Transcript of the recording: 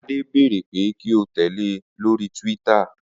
Ade béèrè pé kí ó tẹ̀lé e lórí Twitter